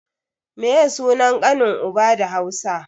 Meye sunan kanin uba da Hausa?